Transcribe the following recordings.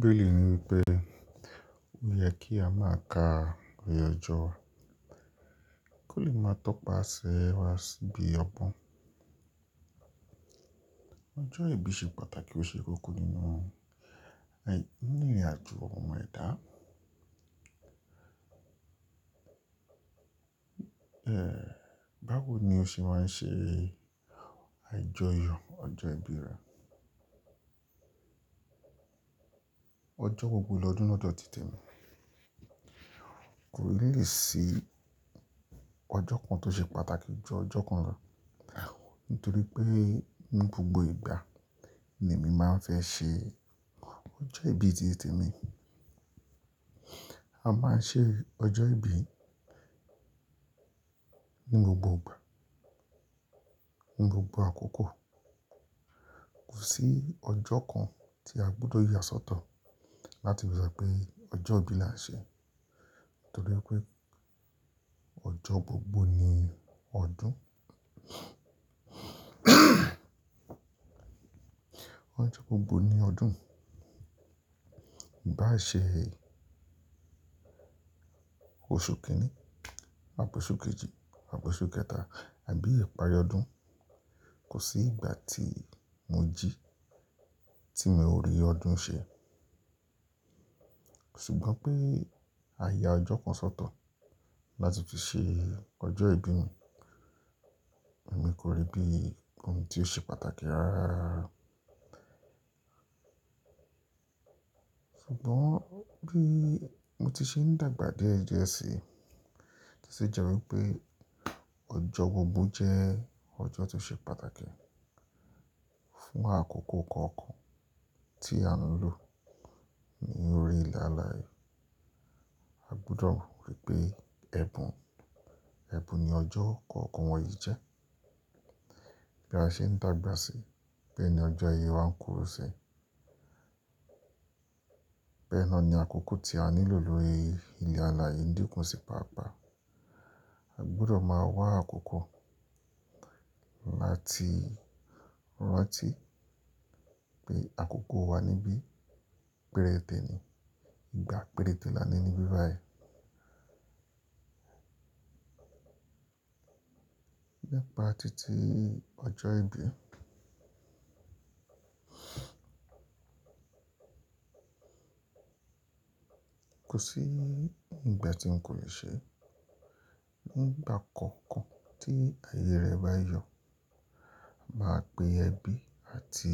Bẹ́ẹ̀ ni wípé ó yẹ kí a máa ka ìrì ọjọ́, kó lè máa tọpaṣẹ wá síbi ọgbọ́n. Ọjọ́ ìbí ṣe pàtàkì ó ṣe kókó nínú àì ní ìrìn àjò ọmọ ẹ̀dá. Báwo ni o ṣe máa ń ṣe àjọyọ̀ ọjọ́ ìbí rẹ? Ọjọ́ gbogbo lọ́dún lọdọ tìte mi. Kò ní lè sí ọjọ́ kan tó ṣe pàtàkì ju ọjọ́ kan lọ, nítorí pé ní gbogbo ìgbà ni èmi máa ń fẹ́ ṣe ọjọ́ ìbí ti te mí. A máa ń ṣe ọjọ́ ìbí ní gbogbo ìgbà, ní gbogbo àkókò. Kò sí ọjọ́ kan tí a gbọdọ̀ yà sọ́tọ̀ láti rí pé ọjọ́ ìbí la ń ṣe. Nítorí wi pé ọjọ́ gbogbo ni ọdún ọjọ́ gbogbo ni ọdún. Bá ṣe oṣù kìíní, àpọ̀ oṣù kejì, àpọ̀ oṣù kẹta àbí ìparí ọdún, kò sí ìgbà tí mo jí tí mo rí ọdún ṣe. Ṣùgbọ́n pé àya ọjọ́ kan sọ́tọ̀ láti fi ṣe ọjọ́ ìbí mi, èmi kò rí bí ohun tí ó ṣe pàtàkì rárá rara rara. Ṣùgbọ́n bí mo ti ṣe ń dàgbà díẹ̀ díẹ̀ sí, ó sì jẹ́ wípé ọjọ́ gbogbo jẹ́ ọjọ́ tó ṣe pàtàkì fún àkókò kọ̀ọ̀kan tí à ń lò ní orí ilẹ̀ alàyee. A gbúdọ̀ rí pé ẹbùn, ẹbùn ni ọjọ́ kọ̀ọ̀kan wọ̀nyí jẹ́. Bí a ṣe ń dàgbà sí, bẹ́ẹ̀ ni ọjọ́ ayé wa ń kúrò sí. Bẹ́ẹ̀ ná ni àkókò tí a nílò lórí ilẹ̀ alàyee n díkùn sí pàápàá. A gbúdọ̀ máa wá àkókò láti rántí pé àkókò wa níbí péréte ni, ìgbà péréte la ní níbí báyìí. Nípa títí ọjọ́ ìbí. Kò sí ìgbà tí n kò lè ṣe. Nígbà kọ̀ọ̀kan tí ayé rẹ bá yọ̀, máa pe ẹbí àti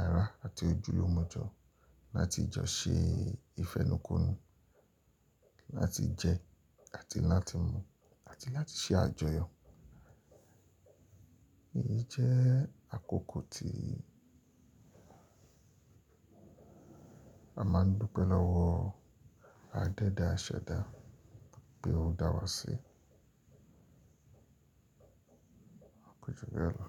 ara àti ojúlùmọ̀jọ́ láti jọ ṣe ìfẹnukonu, láti jẹ àti láti mu àti láti ṣe àjọyọ̀. Èyí jẹ́ àkókò tí a máa ń dúpẹ́ lọ́wọ́ adẹ́dà aṣẹ̀dá pé ó dá wa sí. Koju bẹ lọ.